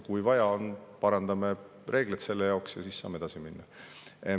Kui vaja on, parandame reegleid selle jaoks, ja siis saame edasi minna.